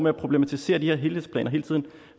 at problematisere de her helhedsplaner hele tiden